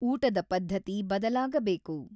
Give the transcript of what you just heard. ಊಟದ ಪದ್ಧತಿ ಬದಲಾಗಬೇಕು.